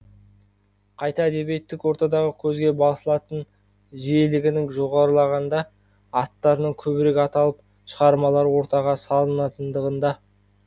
қайта әдебиеттік ортадағы көзге басылатын жиілігінің жоғарылағанда аттарының көбірек аталып шығармалары ортаға салынатындығында